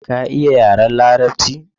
Ka iya yaren larabci?